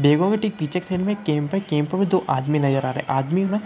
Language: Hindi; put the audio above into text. देखोगे ठीक पीछे से एक कैम्प है कैम्प में दो आदमी नजर आ रहे हैं आदमी ने